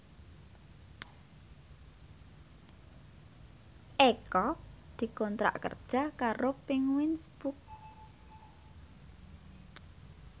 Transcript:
Eko dikontrak kerja karo Penguins Books